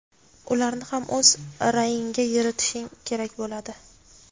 ularni ham o‘z ra’yingga yuritishing kerak bo‘ladi.